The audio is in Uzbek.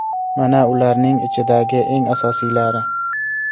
Mana ularning ichidagi eng asosiylari.